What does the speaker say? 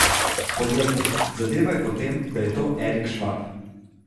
Poglejte, zadeva je potem, da je to Erik Švab.